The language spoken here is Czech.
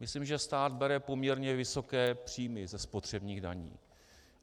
Myslím, že stát bere poměrně vysoké příjmy ze spotřebních daní.